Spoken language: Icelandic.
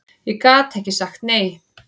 Ég gat ekki sagt nei.